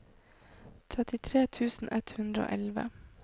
trettitre tusen ett hundre og elleve